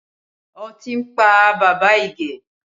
Ọtí ń pa bàbá Ige